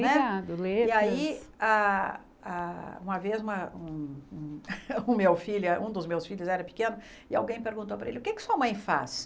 Né Ligado, letras... E aí, ah ah uma vez, um um o meu filho um dos meus filhos era pequeno, e alguém perguntou para ele, o que é que a sua mãe faz?